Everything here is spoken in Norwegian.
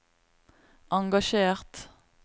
engasjert